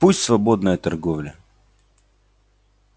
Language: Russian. пусть свободная торговля